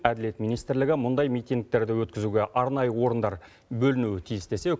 әділет министрлігі мұндай митингтерді өткізуге арнайы орындар бөлінуі тиіс десе